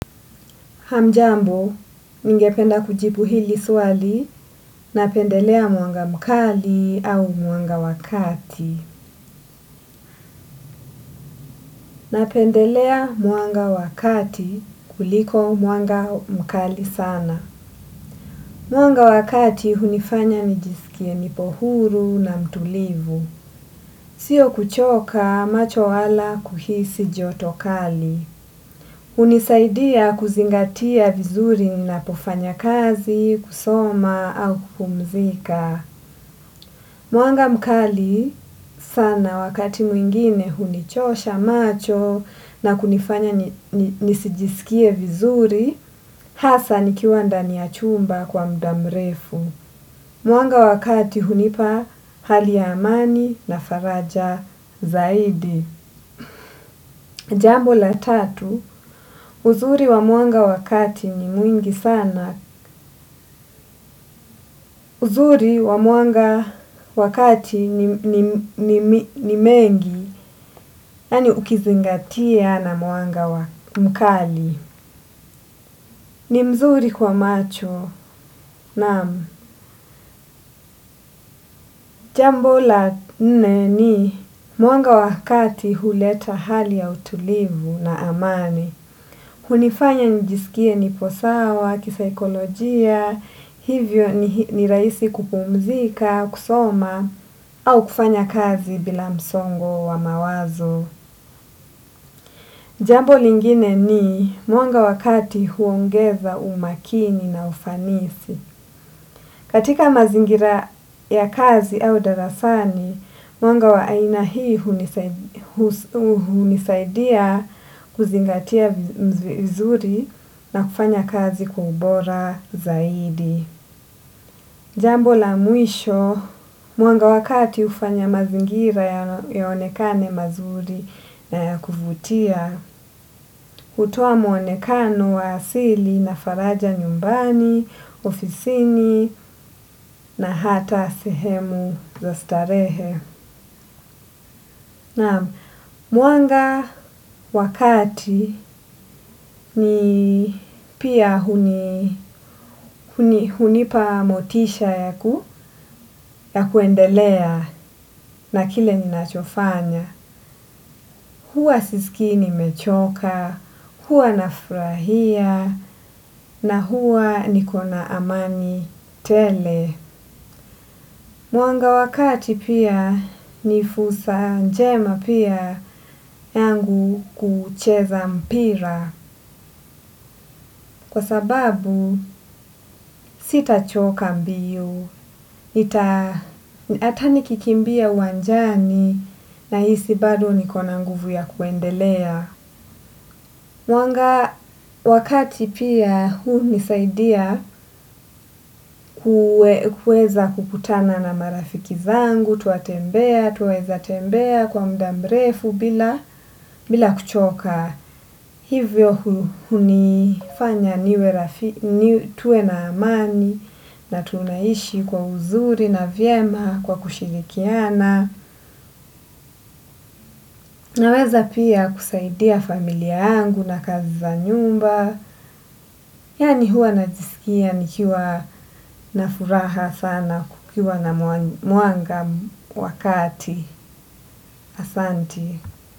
Hamjambo, ningependa kujibu hili swali napendelea mwanga mkali au mwanga wa kati. Na pendelea mwanga wakati kuliko mwanga mkali sana. Mwanga wa kati, hunifanya nijisikie nipohuru na mtulivu. Sio kuchoka macho wala kuhisi jotokali. Hunisaidia kuzingatia vizuri ninapofanya kazi, kusoma au kupumzika. Mwanga mkali sana wakati mwingine hunichosha macho na kunifanya nisijisikie vizuri hasa nikiwa ndani ya chumba kwa muda mrefu. Mwanga wa kati hunipa hali ya amani na faraja zaidi. Jambo la tatu, uzuri wa mwanga wa kati ni mwingi sana. Uzuri wa mwanga wa kati ni mwingi, yaani ukizingatia na mwanga mkali. Ni mzuri kwa macho naam jambo la nne ni mwanga wa kati huleta hali ya utulivu na amani. Hunifanya njisikie nipo sawa, kisaikolojia, hivyo ni rahisi kupumzika, kusoma, au kufanya kazi bila msongo wa mawazo. Jambo lingine ni mwanga wa kati huongeza umakini na ufanisi. Katika mazingira ya kazi au darasani, mwanga wa aina hii hunisaidia kuzingatia vizuri na kufanya kazi kwa ubora zaidi. Jambo la mwisho, mwanga wa kati hufanya mazingira yaonekane mazuri na ya kuvutia, kutoa muonekano wa asili na faraja nyumbani, ofisini na hata sehemu za starehe. Naam mwanga wa kati ni pia hunipa motisha ya kuendelea na kile ninachofanya. Huwa sisikii nimechoka, huwa nafurahia na huwa niko na amani tele. Mwanga wa kati pia ni fursa njema pia yangu kucheza mpira. Kwa sababu sitachoka mbio, hata nikikimbia uwanjani nahisi bado niko na nguvu ya kuendelea. Mwanga wa kati pia hunisaidia kuweza kukutana na marafiki zangu twatembea, twaweza tembea kwa muda mrefu bila kuchoka. Hivyo hunifanya niwe, tuwe na amani na tunaishi kwa uzuri na vyema kwa kushirikiana naweza pia kusaidia familia yangu na kazi za nyumba. Yaani huwa najisikia nikiwa na furaha sana kukiwa na mwanga wa kati asanti.